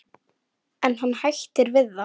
En hann hættir við það.